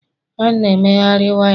a na emegharị waya